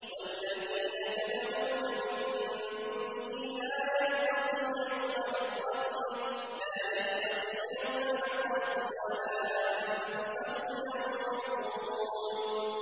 وَالَّذِينَ تَدْعُونَ مِن دُونِهِ لَا يَسْتَطِيعُونَ نَصْرَكُمْ وَلَا أَنفُسَهُمْ يَنصُرُونَ